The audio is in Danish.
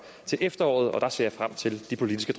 til efteråret jeg ser frem til de politiske